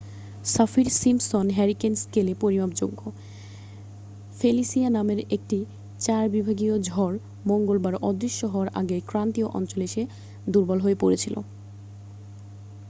Saffir-Simpson hurricane স্কেলে পরিমাপযোগ্য Felicia নামের একটি 4 বিভাগীয় ঝড় মঙ্গলবার অদৃশ্য হওয়ার আগেই ক্রান্তীয় অঞ্চলে এসে দুর্বল হয়ে পড়েছিল